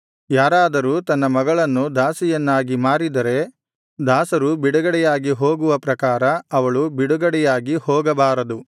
ಯಾರಾದರೂ ತನ್ನ ಮಗಳನ್ನು ದಾಸಿಯನ್ನಾಗಿ ಮಾರಿದರೆ ದಾಸರು ಬಿಡುಗಡೆಯಾಗಿ ಹೋಗುವ ಪ್ರಕಾರ ಅವಳು ಬಿಡುಗಡೆಯಾಗಿ ಹೋಗಬಾರದು